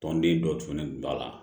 Tɔnden dɔ tununen tun b'a la